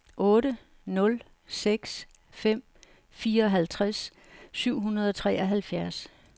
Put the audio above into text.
otte nul seks fem fireoghalvtreds syv hundrede og treoghalvfjerds